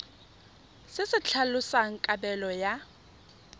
se se tlhalosang kabelo ya